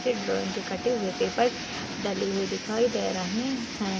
च्छे drawing के कटे हुए पेपर डले हुए दिखाई दे रहे हैं।